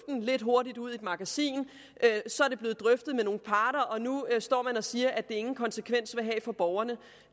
lidt hurtigt ud i et magasin så er det blevet drøftet med nogle parter og nu står man og siger at det ingen konsekvenser vil have for borgerne